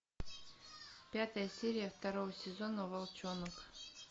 пятая серия второго сезона волчонок